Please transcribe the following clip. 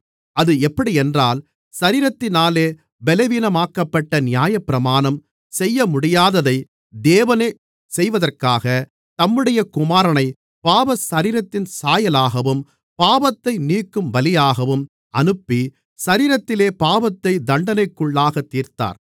அது எப்படியென்றால் சரீரத்தினாலே பலவீனமாக்கப்பட்ட நியாயப்பிரமாணம் செய்யமுடியாததை தேவனே செய்வதற்காக தம்முடைய குமாரனைப் பாவசரீரத்தின் சாயலாகவும் பாவத்தை நீக்கும் பலியாகவும் அனுப்பி சரீரத்திலே பாவத்தை தண்டனைக்குள்ளாகத் தீர்த்தார்